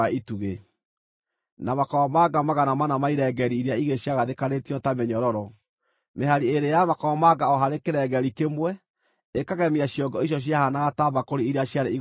na makomamanga 400 ma irengeeri iria igĩrĩ ciagathĩkanĩtio ta mĩnyororo (mĩhari ĩĩrĩ ya makomamanga o harĩ kĩrengeeri kĩmwe ĩkagemia ciongo icio ciahanaga ta mbakũri iria ciarĩ igũrũ wa itugĩ);